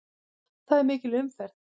Það er mikil umferð.